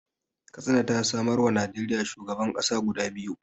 Katsina ta samarwa Najeriya shugaban ƙasa guda biyu